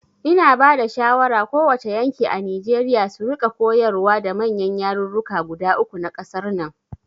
Ina bada shawara ko wace yanki a Nijeriya su rika koyarwa da manyan yarurruka guda uku na ƙasar nan